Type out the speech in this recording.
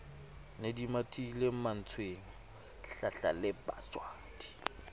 ne di mathile mantswenga hlahlalebajwadi